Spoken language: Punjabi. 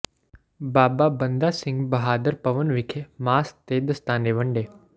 ਬਾਬਾ ਬੰਦਾ ਸਿੰਘ ਬਹਾਦਰ ਭਵਨ ਵਿਖੇ ਮਾਸਕ ਤੇ ਦਸਤਾਨੇ ਵੰਡੇ